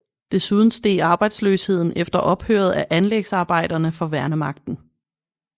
Desuden steg arbejdsløsheden efter ophøret af anlægsarbejderne for værnemagten